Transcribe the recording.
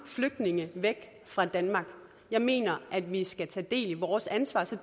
flygtninge væk fra danmark jeg mener at vi skal tage del i vores ansvar og så